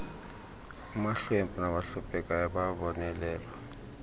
amahlwempu nabahluphekayo bayabonelelwa